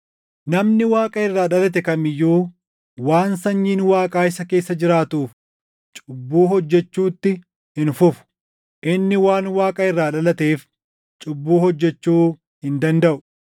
Namni Waaqa irraa dhalate kam iyyuu waan sanyiin Waaqaa isa keessa jiraatuuf cubbuu hojjechuutti hin fufu; inni waan Waaqa irraa dhalateef cubbuu hojjechuu hin dandaʼu.